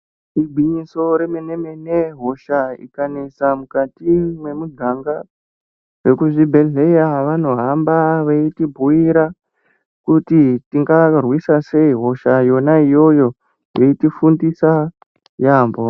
Igwinyiso remene mene, hosha ikanesa mukati mwemuganga vekuzvibhehleya vanohamba veitibhuyira kuti tingarwisa sei hosha yona iyoyo veitifundisa yaambo.